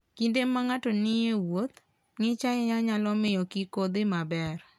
Kinde ma ng'ato nie wuoth, ng'ich ahinya nyalo miyo kik odhi maber.